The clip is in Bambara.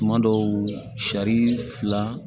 Tuma dɔw sari fila